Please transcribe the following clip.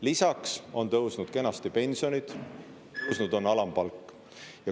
Lisaks on tõusnud kenasti pensionid, tõusnud on alampalk.